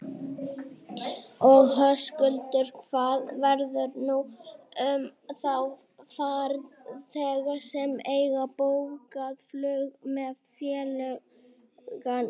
Og Höskuldur, hvað verður nú um þá farþega sem eiga bókað flug með félaginu?